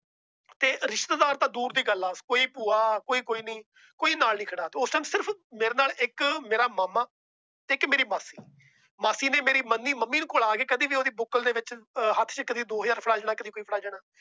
ਤੇ ਰਿਸ਼ਤੇਦਾਰ ਤਾਂ ਦੂਰ ਦੀ ਗੱਲ ਏ। ਕੋਈ ਭੂਆ ਕੋਈ ਕੁਛ ਨਹੀਂ ਕੋਈ ਨਾਲ ਨਹੀਂ ਖੜਾ। ਉਸ ਦਿਨ ਸਿਰਫ ਮੇਰੇ ਨਾਲ ਇੱਕ ਮੇਰਾ ਮਾਮਾ ਇੱਕ ਮੇਰੀ ਮਾਸੀ। ਮਾਸੀ ਨੇ ਮੇਰੀ ਮੰਮੀ ਕੋਲ ਕਦੇ ਬੁੱਕਲ ਦੇ ਵਿੱਚ ਹੱਥ ਵਿੱਚ ਕਦੀ ਦੋ ਹਜ਼ਾਰ ਫੜਾ ਜਾਣਾ ਕਦੀ ਕੁਛ